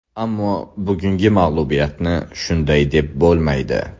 Ammo bugungi mag‘lubiyatni shunday deb bo‘lmaydi.